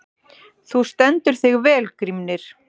Þú stendur þig vel, Grímnir!